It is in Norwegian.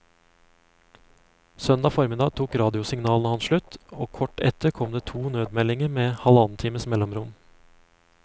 Søndag formiddag tok radiosignalene hans slutt, og kort etter kom det to nødmeldinger med halvannen times mellomrom.